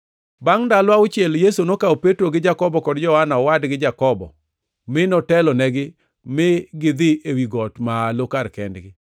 Bangʼ ndalo auchiel, Yesu nokawo Petro gi Jakobo, kod Johana owadgi Jakobo mi notelonegi ma gidhi ewi got malo kar kendgi.